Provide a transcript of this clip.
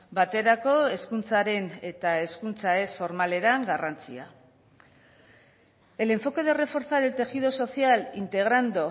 baterako hezkuntzaren eta hezkuntza ez formalera garrantzia el enfoque de reforzar el tejido social integrando